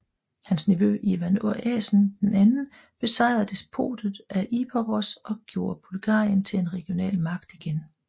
Hans nevø Ivan Asen II besejrede Despotatet af Epiros og gjorde Bulgarien til en regional magt igen